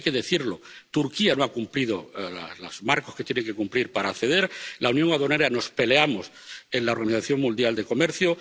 Y hay que decirlo Turquía no ha cumplido los marcos que tiene que cumplir para acceder respecto a la Unión Aduanera, nos peleamos en la Organización Mundial de Comercio